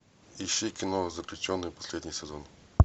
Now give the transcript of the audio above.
ищи кино заключенный последний сезон